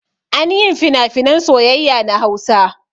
Anyin finafinan soyayya na hausa